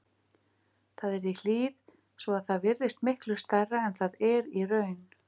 Það er í hlíð svo að það virðist miklu stærra en það er í raun.